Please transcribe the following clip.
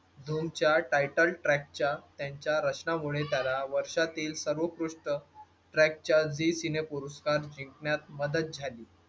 दोन चार title track च्या त्यांच्या रचनामुळे त्यांना वर्षातील सर्वोत्कृष्ट track च्या zee cine पुरस्कार जिंकण्यात मदत झाली.